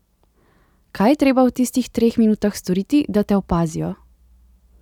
Kaj je treba v tistih treh minutah storiti, da te opazijo?